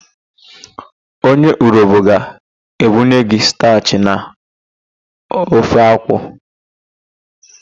Onye Urobo ga-ebunye gị stachị na ofe akwu.